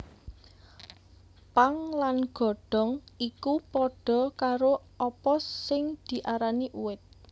Pang lan godhong iku padha karo apa sing diarani uwit